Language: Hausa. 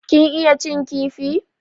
Kin iya cin kifi?